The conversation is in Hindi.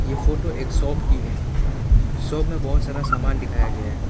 ये फोटो एक शॉप की है शॉप में बहुत सारा सामान दिखाया गया है।